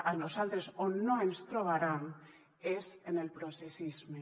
a nosaltres on no ens trobaran és en el processisme